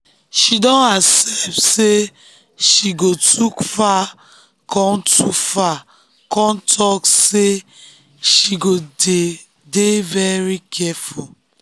she don accept sey she um go too far kon too far kon talk sey she go dey-dey very careful.